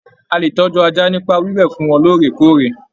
A lè tọjú ajá nipa wiwẹ fún wọn lóòrèkóòrè.